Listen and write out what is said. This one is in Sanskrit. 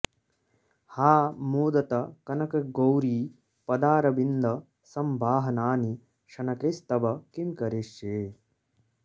हा मोदतः कनकगौरि पदारविन्द संवाहनानि शनकैस्तव किं करिष्ये